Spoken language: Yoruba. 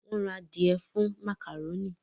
Wón rà adìe fún macaroni